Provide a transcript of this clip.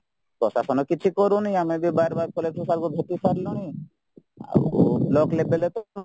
ପ୍ରଶାସନ କିଛି କରୁନି ଆମେ ବି ବାର ବାର collector sirଙ୍କୁ ଭେଟିସାରିଲୁଣି ଆଉ ବ୍ଲକ level ରେତ